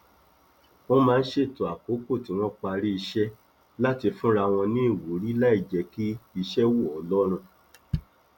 wọn máa ń ṣètò àkókò tí wọn parí iṣẹ láti fúnra wọn ní ìwúrí láì jẹ kí iṣẹ wọ lọrùn